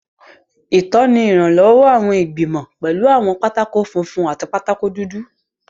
Ìtọ́ni ìrànlọ́wọ́ àwọn ìgbìmọ̀, pẹ̀lú àwọn pátákó funfun àti pátákó dúdú.